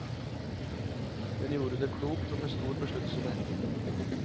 Hun gjorde det klokt og med stor besluttsomhet.